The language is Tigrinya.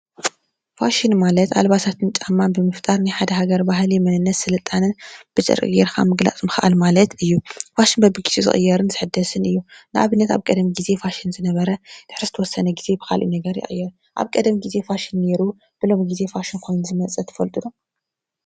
ፋሽን ማለት ኣልባሳትን ጫማን ብምፍጣር ናይ ሓደ ሃገር ባህሊ መንነት ስልጣነ ብዘርኢ ገይርካ ምግላጽ ምኽኣል ማለት እዩ። ፋሽን በቢግዚኡ ዝቅየርን ዝሕደስን እዩ። ንኣብነት ኣብ ቀድም ግዜ እቲ ፋሽን ዝነበር ድሕሪ ዝተወሰነ ግዜ ብካሊእ ነገር ይቅየር። ኣብ ቀደም ጊዜ ፋሽን ነይሩ ብሎሚ ግዜ ፋሽን ኮይኑ ዝመጸ ትፈልጡ ዶ?